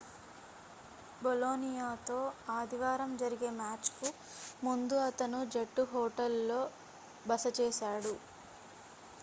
బొలోనియాతో ఆదివారం జరిగే మ్యాచ్ కు ముందు అతను జట్టు హోటల్ లో బస చేశాడు